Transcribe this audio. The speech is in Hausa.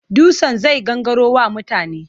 Dutsen zai gangaro wa mutane.